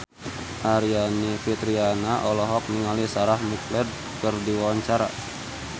Aryani Fitriana olohok ningali Sarah McLeod keur diwawancara